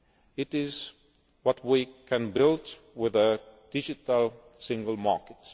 on. It is what we can build with a Digital Single